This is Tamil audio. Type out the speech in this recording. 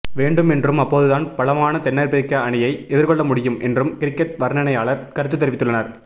வேண்டும் என்றும் அப்போதுதான் பலமான தென்னாப்பிரிக்க அணியை எதிர்கொள்ள முடியும் என்றும் கிரிக்கெட் வர்ணனையாளர் கருத்து தெரிவித்துள்ளனர்